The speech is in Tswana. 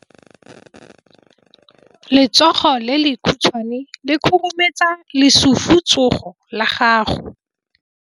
Letsogo le lekhutshwane le khurumetsa lesufutsogo la gago.